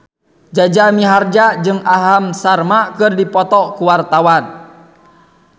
Jaja Mihardja jeung Aham Sharma keur dipoto ku wartawan